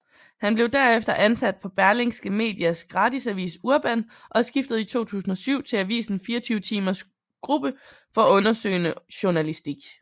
Han blev derefter ansat på Berlingske Medias gratisavis Urban og skiftede i 2007 til avisen 24timers gruppe for undersøgende journalistik